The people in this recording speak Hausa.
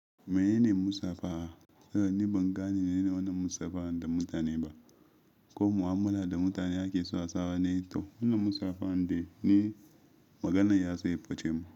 Menene musafaha? Zani ban gane menene wannan musafaha da mutane ba ko mu'amala da mutane ake so a sawa ne, to wannan musafaha din ne maganar ya so ya yi bacemu.